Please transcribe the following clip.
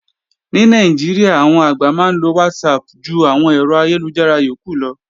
Ní Nàìjíríà, àwọn àgbà máa ń lo WhatsApp ju àwọn ẹ̀rọ ayélujára yókù lọ